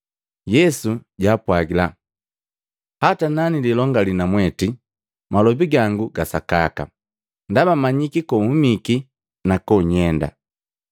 Yesu jaapwagila, “Hata nanililongali namweti, malobi gangu ga sakaka, ndaba manyiki kohumiki na konyenda. Lakini mwanganya ngasemmanyiki kohumiki wala konyenda.